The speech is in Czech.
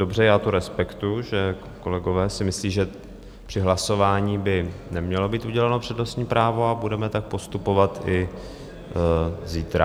Dobře, já to respektuji, že kolegové si myslí, že při hlasování by nemělo být uděleno přednostní právo, a budeme tak postupovat i zítra.